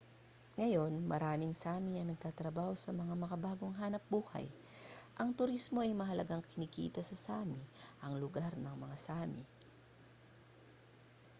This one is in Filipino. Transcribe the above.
ngayon maraming sámi ang natatrabaho sa mga makabagong hanapbuhay ang turismo ay mahalagang kinikita sa sámi ang lugar ng mga sámi